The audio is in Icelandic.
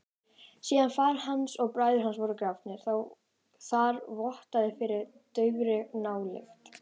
Síðan faðir hans og bræður voru grafnir þar vottaði fyrir daufri nálykt.